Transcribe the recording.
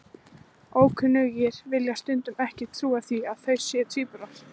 Ókunnugir vilja stundum ekki trúa því að þau séu tvíburar.